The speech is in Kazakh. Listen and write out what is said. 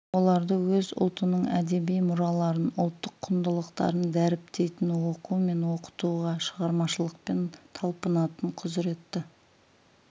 оларды өз ұлтының әдеби мұраларын ұлттық құндылықтарын дәріптейтін оқу мен оқытуға шығармашылықпен талпынатын құзіретті